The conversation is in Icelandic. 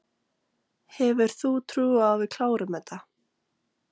Hefur þú trú á að við klárum þetta?